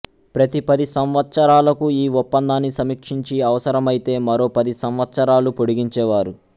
ప్రతి పది సంవత్సరాలకు ఈ ఒప్పందాన్ని సమీక్షించి అవసరమైతే మరో పది సంవత్సరాలు పొడిగించేవారు